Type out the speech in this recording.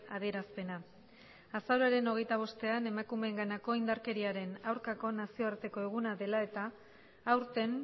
adierazpena azaroaren hogeita bostean emakumeenganako indarkeriaren aurkako nazioarteko eguna dela eta aurten